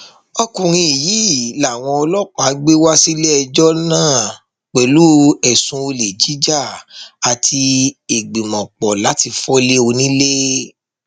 ọkùnrin yìí làwọn ọlọpàá gbé wá síléẹjọ náà pẹlú ẹsùn olè jíjà àti ìgbìmọpọ láti fọlé onílẹ